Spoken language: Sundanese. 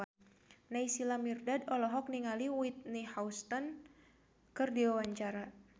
Naysila Mirdad olohok ningali Whitney Houston keur diwawancara